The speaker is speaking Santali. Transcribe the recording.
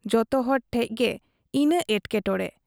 ᱡᱚᱛᱚᱦᱚᱲ ᱴᱷᱮᱫ ᱜᱮ ᱤᱱᱟᱹ ᱮᱴᱠᱮᱴᱚᱬᱮ ᱾